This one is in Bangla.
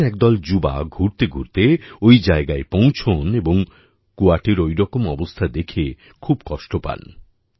একদিন একদল যুবা ঘুরতেঘুরতে ওই জায়গায় পৌঁছন এবং কুয়াটির ওরকম অবস্থা দেখে খুব কষ্ট পান